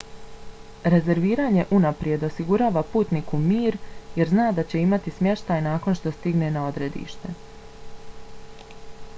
rezerviranje unaprijed osigurava putniku mir jer zna da će imati smještaj nakon što stigne na odredište